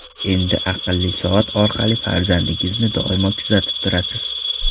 Endi aqlli soat orqali farzandingizni doimo kuzatib turasiz.